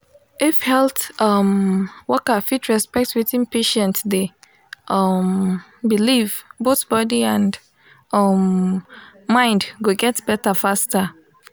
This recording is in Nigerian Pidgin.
if health um worker fit respect wetin patient dey um believe both body and um mind go get better faster.